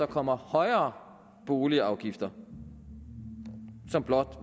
kommer højere boligafgifter som blot